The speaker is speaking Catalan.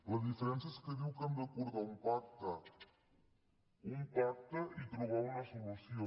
la diferència és que diu que hem d’acordar un pacte un pacte i trobar una solució